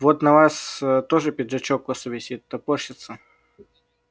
вот на вас ээ тоже пиджачок косо висит топорщится